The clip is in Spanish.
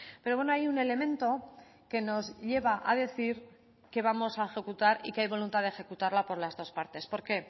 pero bueno hay un elemento que nos lleva a decir que vamos a ejecutar y que hay voluntad de ejecutarla por las dos partes por qué